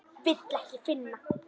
Vil ekki finna.